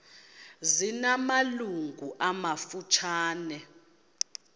zina malungu amafutshane